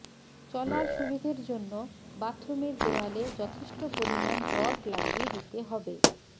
চলার সুবিধের জন্য বাথরুমের দেওয়ালে যথেষ্ট পরিমাণ রড লাগিয়ে দিতে হবে